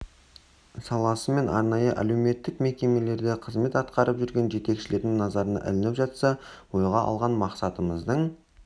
саласы мен арнайы әлеуметтік мекемелерде қызмет атқарып жүрген жетекшілердің назарына ілініп жатса ойға алған мақсатымыздың